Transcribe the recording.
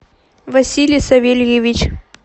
василий савельевич